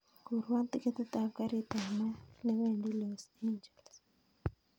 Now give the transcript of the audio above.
Kurwon tiketei ab garit ab maat newendi los angeles